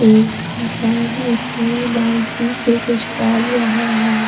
एक इंसान उसमें बाल्टी से कुछ डाल रहा है।